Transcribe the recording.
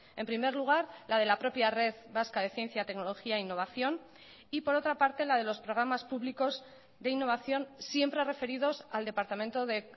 en primer lugar la de la propia red vasca de ciencia tecnología e innovación y por otra parte la de los programas públicos de innovación siempre referidos al departamento de